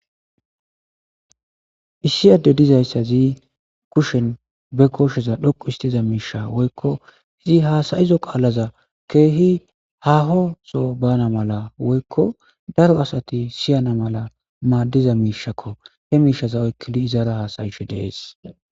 issiyade dizayssa zii kushen be kosheza dhoqu istiza miisha woykko izi haasayizo qaalaza keehi hahoso bana mala woykko daro asati siyana mala maaddiza miishakko he miishaza oykkili izaara haasayisho dees